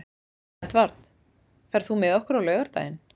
Edvard, ferð þú með okkur á laugardaginn?